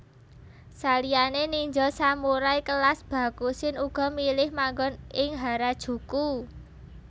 Saliyané ninja samurai kelas Bakushin uga milih manggon ing Harajuku